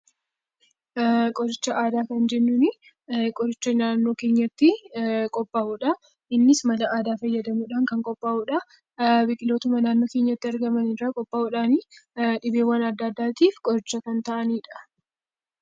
Qoricha aadaa kan jennuun, qoricha naannoo keenyatti qophaa'udha. Innis mala aadaa fayyadamuudhaan kan qophaa'udha. Biqilootuma naannoo keenyatti argaman fayyadamuudhaan dhibeewwaan addaa addaatiif qoricha kan ta'anidha.